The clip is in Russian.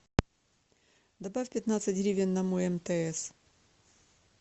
добавь пятнадцать гривен на мой мтс